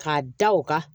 K'a da o kan